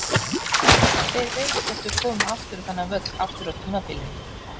Hver veit hvort við komum aftur á þennan völl aftur á tímabilinu?